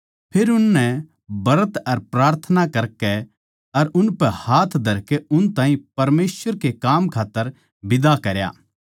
फेर उननै ब्रत अर प्रार्थना करकै अर उनपै हाथ धरकै उन ताहीं परमेसवर के काम खात्तर बिदा करया